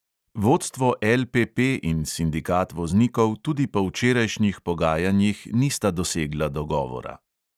Vodstvo LPP in sindikat voznikov tudi po včerajšnjih pogajanjih nista dosegla dogovora.